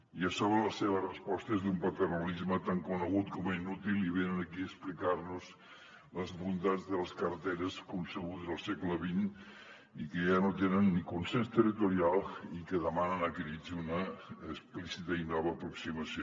i a sobre la seva resposta és d’un paternalisme tan conegut com inútil i venen aquí a explicar nos les bondats de les carreteres concebudes al segle xx i que ja no tenen ni consens territorial i que demanen a crits una explícita i nova aproximació